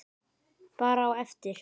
Bara á eftir.